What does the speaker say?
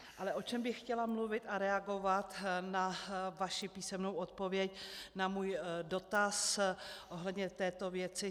Ale o čem bych chtěla mluvit a reagovat na vaši písemnou odpověď na můj dotaz ohledně této věci.